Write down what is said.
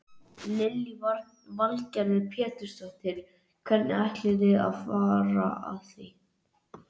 Lillý Valgerður Pétursdóttir: Hvernig ætlið þið að fara að því?